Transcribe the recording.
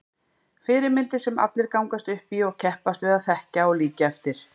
Fyrirmyndir sem allir gangast upp í og keppast við að þekkja og líkja eftir.